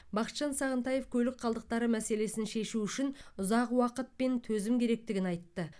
бақытжан сағынтаев көлік қалдықтары мәселесін шешу үшін ұзақ уақыт пен төзім керектігін айтты